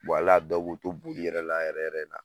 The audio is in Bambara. hali a dɔw b'u to bolila yɛrɛ la yɛrɛ yɛrɛ